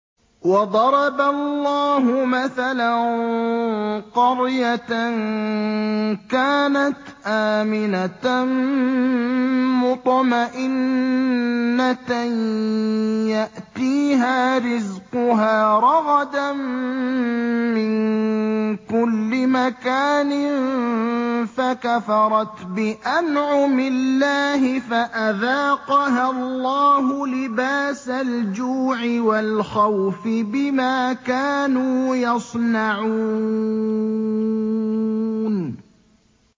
وَضَرَبَ اللَّهُ مَثَلًا قَرْيَةً كَانَتْ آمِنَةً مُّطْمَئِنَّةً يَأْتِيهَا رِزْقُهَا رَغَدًا مِّن كُلِّ مَكَانٍ فَكَفَرَتْ بِأَنْعُمِ اللَّهِ فَأَذَاقَهَا اللَّهُ لِبَاسَ الْجُوعِ وَالْخَوْفِ بِمَا كَانُوا يَصْنَعُونَ